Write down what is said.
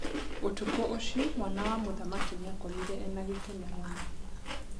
ũtukũ ũcio mwana wa mũthamaki nĩakomire ena gĩkeno mũno.